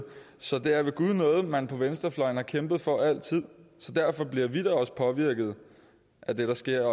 så det er ved gud noget man på venstrefløjen har kæmpet for altid derfor bliver vi da også påvirkede af det der sker